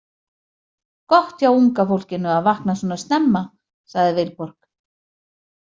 Gott hjá unga fólkinu að vakna svona snemma, sagði Vilborg.